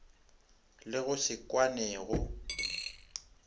le go se kwane go